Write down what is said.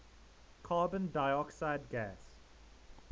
carbon dioxide gas